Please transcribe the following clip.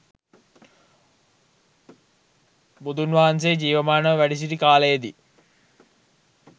බුදුන්වහන්සේ ජීවමානව වැඩසිටි කාලයේදි